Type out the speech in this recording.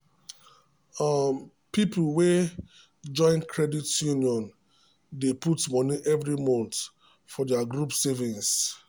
um people wey join credit union um dey put money every month for their group savings.